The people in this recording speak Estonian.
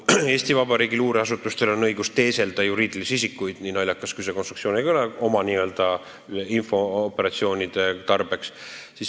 Eesti Vabariigi luureasutustelgi on õigus oma infooperatsioonide tarbeks juriidilisi isikuid teeselda, kui naljakalt see konstruktsioon ka ei kõla.